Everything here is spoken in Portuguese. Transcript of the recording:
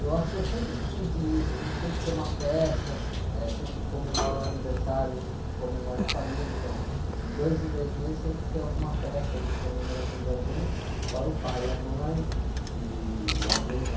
Eu acho que eu sempre tive isso, a gente sempre tem uma festa, eh, sempre que comemora o aniversário, a gente comemora em família, então de dois em dois meses sempre tem alguma festa de comemoração de alguém, fora o pai e a mãe e, e alguém da...